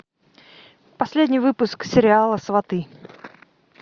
последний выпуск сериала сваты